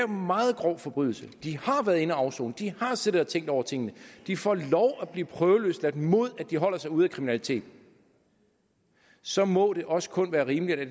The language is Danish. meget grov forbrydelse de har været inde at afsone de har siddet og tænkt over tingene de får lov at blive prøveløsladt mod at de holder sig ude af kriminalitet så må det også kun være rimeligt at